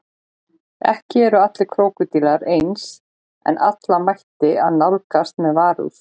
Ekki eru allir krókódílar eins en alla ætti að nálgast með varúð.